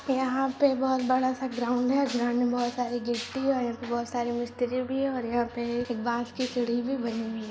यहा पर बहुत बड़ा सा ग्राउड़ है ग्राउड़ बहुत सारे गिट्टी है और यहां पे बहुत सारे मिस्त्री भी है और यहा पे बास्केट की सीडी भि बनी हुई है।